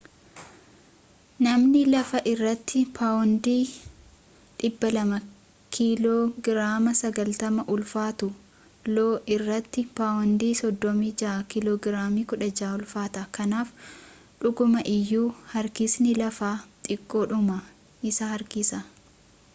namni lafa irratti paawondii 200 kiiloo giraama 90 ulfaatu lo irratti paawundii 36 kiiloo giraamii 16 ulfaata. kanaaf dhuguma iyyuu harkisni lafaa xiqqoodhuma si harkisa